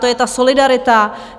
To je ta solidarita.